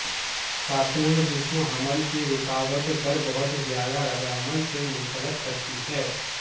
خاتون جسم حمل کی رکاوٹ پر بہت زیادہ ردعمل سے منسلک کرتی ہے